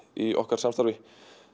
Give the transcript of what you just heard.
í okkar samstarfi